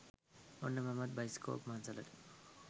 ඔන්න මමත් බයිස්කෝප් මංසලට